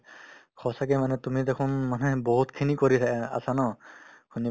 সঁচাকে মানে তুমি দেখোন মানে বহুতখিনি কৰি আছা ন শুনি